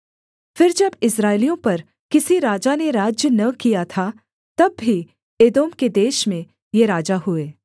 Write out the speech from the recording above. फिर जब इस्राएलियों पर किसी राजा ने राज्य न किया था तब भी एदोम के देश में ये राजा हुए